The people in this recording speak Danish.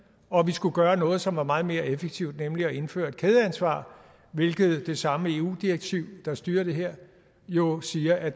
og at vi skulle gøre noget som var meget mere effektivt nemlig at indføre et kædeansvar hvilket det samme eu direktiv der styrer det her jo siger at